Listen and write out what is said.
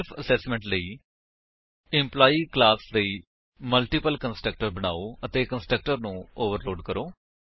self assessment ਲਈ employee class ਲਈ multiple constructor ਬਨਾਓ ਅਤੇ ਕੰਸਟਰਕਟਰ ਨੂੰ ਓਵਰਲੋਡ ਕਰੋ